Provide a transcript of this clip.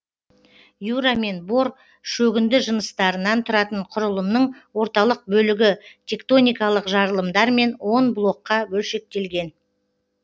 юра мен бор шөгінді жыныстарынан тұратын құрылымның орталық бөлігі тектоникалық жарылымдармен он блокқа бөлшектелген